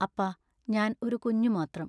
അപ്പാ ഞാൻ ഒരു കുഞ്ഞു മാത്രം.